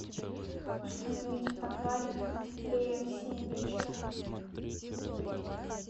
установить в подвале теплее в семь вечера